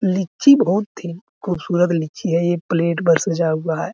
लीची बहुत ही खूबसूरत लीची है ये प्लेट पर सजा हुआ है।